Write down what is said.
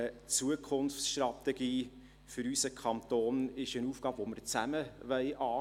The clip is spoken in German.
Die Zukunftsstrategie für unseren Kanton ist eine Aufgabe, die wir zusammen angehen wollen.